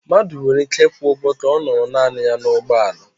Mmadụ nwere ike ịkwụ ụgwọ ka ọ nọrọ naanị ya n'ụgbọala